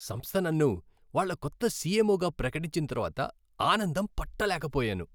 సంస్థ నన్ను వాళ్ళ కొత్త సిఎంఓగా ప్రకటించిన తర్వాత ఆనందం పట్టలేకపోయాను.